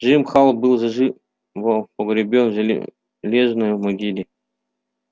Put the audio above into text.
джим холл был заживо погребён в железной могиле